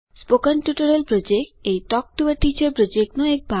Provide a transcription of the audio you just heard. spoken tutorial project એ talk to a teacher પ્રોજેક્ટનો એક ભાગ છે